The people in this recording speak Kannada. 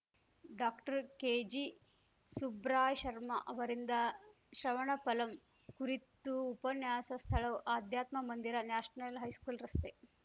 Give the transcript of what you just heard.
ಡಾಕ್ಟರ್ಕೆಜಿ ಸುಬ್ರಾಯ್ಶರ್ಮಾ ಅವರಿಂದ ಶ್ರವಣಫಲಂ ಕುರಿತು ಉಪನ್ಯಾಸ ಸ್ಥಳಆಧ್ಯಾತ್ಮ ಮಂದಿರ ನ್ಯಾಷನಲ್‌ ಹೈಸ್ಕೂಲ್‌ ರಸ್ತೆ